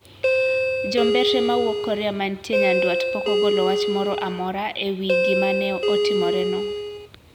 Jombetre mawuok Korea mantie nyanduat pok ogolo wach moro amora e wi gima ne otimoreno.